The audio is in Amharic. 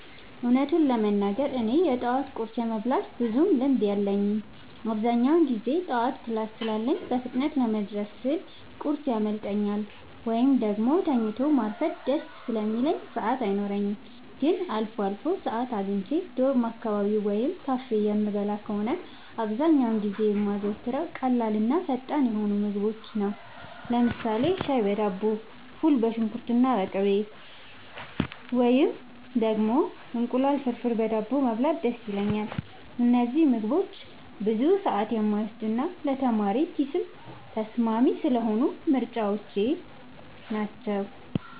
እውነቱን ለመናገር እኔ የጠዋት ቁርስ የመብላት ብዙም ልምድ የለኝም። አብዛኛውን ጊዜ ጠዋት ክላስ ስላለኝ በፍጥነት ለመድረስ ስል ቁርስ ያመልጠኛል፤ ወይም ደግሞ ተኝቶ ማርፈድ ደስ ስለሚለኝ ሰዓት አይኖረኝም። ግን አልፎ አልፎ ሰዓት አግኝቼ ዶርም አካባቢ ወይም ካፌ የምበላ ከሆነ፣ አብዛኛውን ጊዜ የማዘወትረው ቀላልና ፈጣን የሆኑ ምግቦችን ነው። ለምሳሌ ሻይ በዳቦ፣ ፉል በሽንኩርትና በቅቤ፣ ወይም ደግሞ እንቁላል ፍርፍር በዳቦ መብላት ደስ ይለኛል። እነዚህ ምግቦች ብዙ ሰዓት የማይወስዱና ለተማሪ ኪስም ተስማሚ ስለሆኑ ምርጫዎቼ ናቸው።